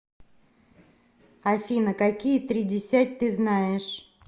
афина какие тридесять ты знаешь